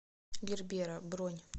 гербера бронь